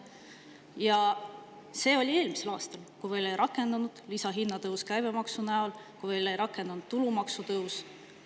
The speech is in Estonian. Ja see oli eelmisel aastal, kui veel ei rakendunud lisahinnatõus käibemaksu näol, ei rakendunud tulumaksu tõus.